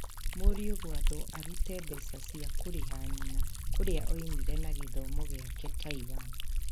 Mũriũ gwathwo arute mbeca cia kũrĩha nyina kũrĩa oimire na gĩthomo gĩake Taiwan